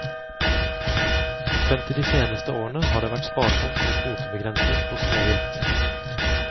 Frem til de seneste årene har det vært sparsomt med kvotebegrensning på småvilt.